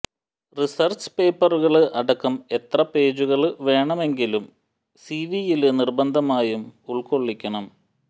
research പേപ്പറുകള് അടക്കം എത്ര പേജുകള് വേണമെങ്കിലും സിവിയില് നിര്ബന്ധമായും ഉള്്കൊളള്ളിക്കണം